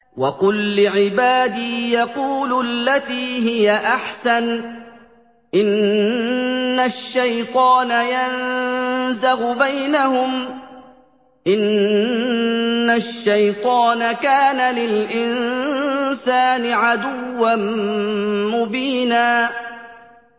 وَقُل لِّعِبَادِي يَقُولُوا الَّتِي هِيَ أَحْسَنُ ۚ إِنَّ الشَّيْطَانَ يَنزَغُ بَيْنَهُمْ ۚ إِنَّ الشَّيْطَانَ كَانَ لِلْإِنسَانِ عَدُوًّا مُّبِينًا